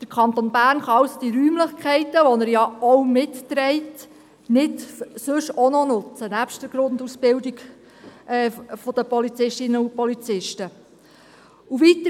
Der Kanton Bern kann also die Räumlichkeiten, welcher er auch mitträgt, nebst der Grundausbildung der Polizistinnen und Polizisten nicht anderweitig nutzen.